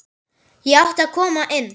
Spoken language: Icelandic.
Ég átti að koma inn!